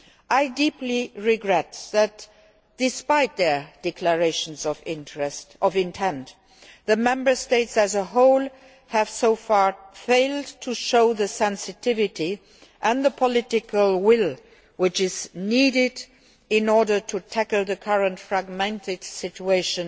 I deeply regret that despite their declarations of intent, the Member States as a whole have so far failed to show the sensitivity and the political will which are needed in order to tackle the current fragmented situation